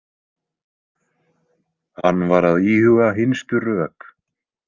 Hann var að íhuga hinstu rök.